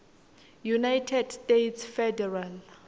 united states federal